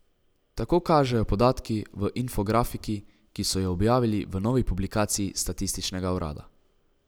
Tako kažejo podatki v infografiki, ki so jo objavili v novi publikaciji statističnega urada.